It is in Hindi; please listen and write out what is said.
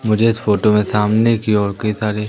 मुझे इस फोटो में सामने की ओर कई सारे--